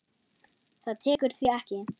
Það tekur því ekki.